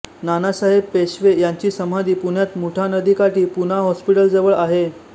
नानासाहेब पेशवे यांची समाधी पुण्यात मुठा नदीकाठी पूना हॉस्पिटलजवळ आहे